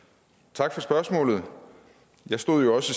tak for spørgsmålet jeg stod jo også